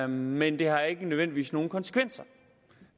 men det har ikke nødvendigvis nogen konsekvenser